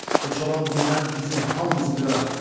Bu çoban birdən bizim hamımızı qırar.